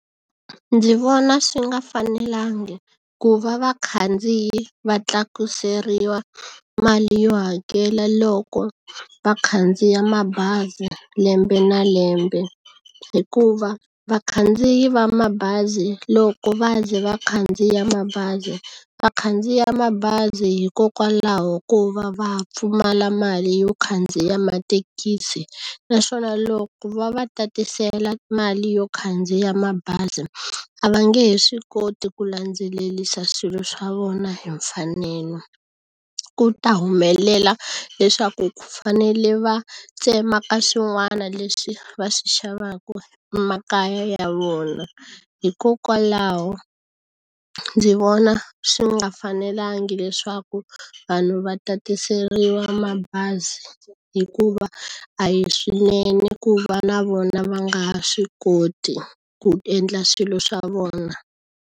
Ndzi vona swi nga fanelangi ku va vakhandziyi va tlakuseriwa mali yo hakela loko va khandziya mabazi lembe na lembe hikuva vakhandziyi va mabazi loko va ze va khandziya mabazi va khandziya mabazi hikokwalaho ko va va pfumala mali yo khandziya matekisi naswona loko va va tatisela mali yo khandziya mabazi a va nge he swi koti ku landzelelisa swilo swa vona hi mfanelo ku ta humelela leswaku fanele va tsema ka swin'wana leswi va swi xavaku emakaya ya vona hikokwalaho ndzi vona swi nga fanelangi leswaku vanhu va tatiseriwa mabazi hikuva a hi swinene ku va na vona va nga ha swi koti ku endla swilo swa vona.